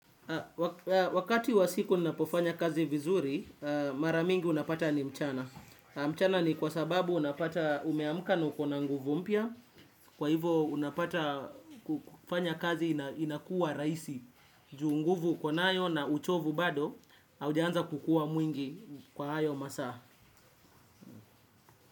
Wakati wa siku ninapofanya kazi vizuri, mara mingi unapata ni mchana. Mchana ni kwa sababu unapata umeamka na ukona nguvu mpya. Kwa hivo unapata kufanya kazi inakuwa rahisi. Juu nguvu ukonayo na uchovu bado, haujaanza kukuwa mwingi kwa hayo masaa.